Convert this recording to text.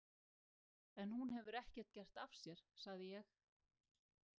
En hún hefur ekkert gert af sér, sagði ég.